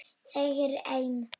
Þegir enn.